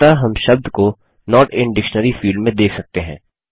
अतः हम शब्द को नोट इन डिक्शनरी फील्ड में देख सकते हैं